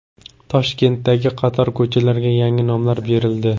Toshkentdagi qator ko‘chalarga yangi nomlar berildi.